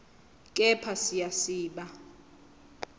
kepha siya siba